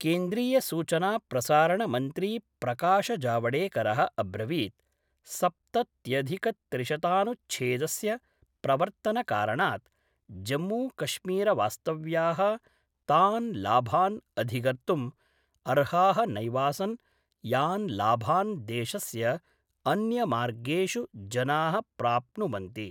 केन्द्रीयसूचनाप्रसारणमन्त्रीप्रकाश जावडेकर: अब्रवीत् सप्तत्यधिकत्रिशतानुच्छेदस्य प्रवर्तनकारणात् जम्मू कश्मीरवास्तव्या: तान् लाभान् अधिगर्तुम् अर्हा: नैवासन् यान् लाभान् देशस्य अन्यमार्गेषु जना: प्राप्नुवन्ति।